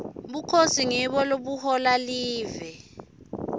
bukhosi ngibo lobuhola live